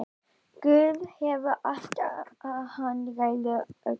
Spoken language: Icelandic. Guð hefur allt, hann ræður öllu.